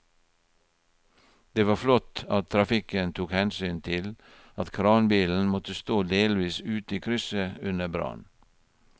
Det var flott at trafikken tok hensyn til at kranbilen måtte stå delvis ute i krysset under brannen.